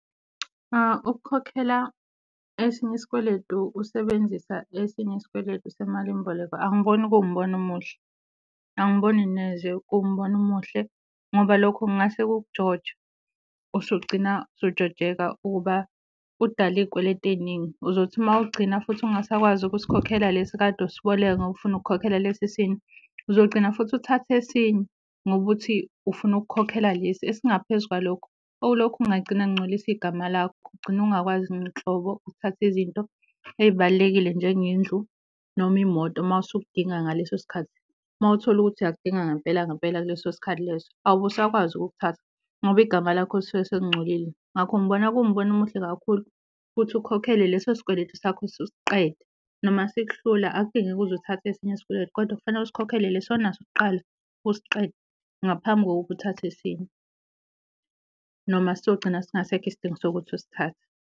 Ukukhokhela esinye isikweletu usebenzisa esinye isikweletu semalimboleko angiboni kuwumbono omuhle, angiboni neze kuwumbono omuhle ngoba lokho kungase kukujoje usugcina sujojeka ukuba udale iy'kweleti ey'ningi. Uzothi uma ugcina futhi ungasakwazi ukusikhokhela lesi kade usiboleka ngoba ufuna ukukhokhela lesi esinye, uzogcina futhi uthathe esinye ngoba uthi ufuna ukukhokhela lesi esingaphezu kwalokho. Okulokhu kungagcina kungcolisa igama lakho, ugcine ungakwazi nhlobo ukuthatha izinto ey'balulekile njengendlu, noma imoto mawusukudinga ngaleso sikhathi. Mawuthole ukuthi uyakudinga ngampela ngampela kuleso sikhathi leso awubusakwazi ukuthatha ngoba igama lakho lisuke selingcolile. Ngakho ngibona kuwumbono omuhle kakhulu ukuthi ukhokhele leso sikweletu sakho usiqede, noma sikuhlula akudingeki uze uthathe esinye isikweletu kodwa kufanele usikhokhele lesi onaso kuqala usiqede ngaphambi kokuba uthathe esinye, noma siyogcina singasekho isidingo sokuthi usithathe.